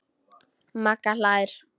Magga hlær.